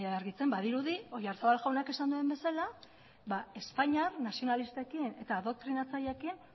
argitzen badirudi oyarzabal jaunak esan duen bezala espainiar nazionalistekin eta adoktrinatzaileekin